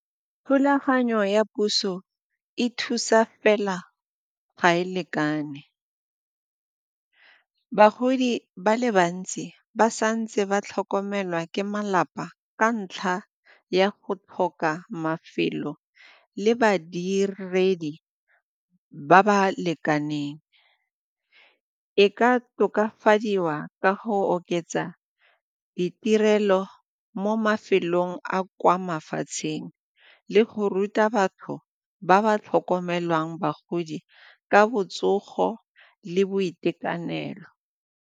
Thulaganyo ya puso e thusa fela, ga e lekane bagodi ba le bantsi ba santse ba tlhokomelwa ke malapa ka ntlha ya go tlhoka mafelo le badiredi ba ba lekaneng. E ka tokafadiwa ka go oketsa ditirelo mo mafelong a kwa mafatsheng le go ruta batho ba ba tlhokomelang bagodi ka botsogo le boitekanelo.